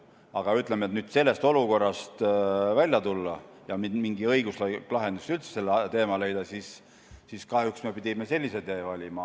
Aga, ütleme, selleks, et nüüd sellest olukorrast välja tulla ja üldse mingi õiguslik lahendus sellele teemale leida, me pidime kahjuks sellise tee valima.